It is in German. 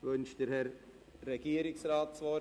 Wünscht der Regierungsrat das Wort?